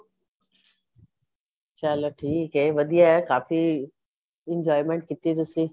ਚੱਲ ਠੀਕ ਏ ਵਧੀਆ ਕਾਫੀ enjoyment ਕੀਤੀ ਤੁਸੀਂ